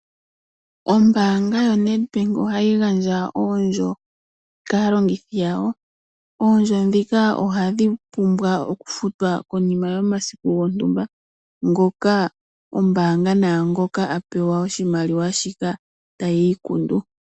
Ombaanga yoNEDBANK ohayi gandja oondjo kaa longithi yawo. Oondjo ndhika ohadhi pumbwa oku futwa konima yomasiku gontumba, ngoka ombaanga naangoka a pewa oshimaliwa shika tayi ikundu.